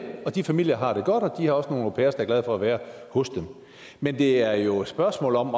og de familier har det godt og de har også nogle au pairer der er glade for at være hos dem men det er jo et spørgsmål om